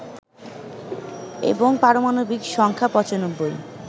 এবং পারমাণবিক সংখ্যা ৯৫